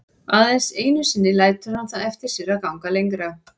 Aðeins einu sinni lætur hann það eftir sér að ganga lengra.